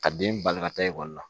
Ka den bangekɔ ta ekɔli la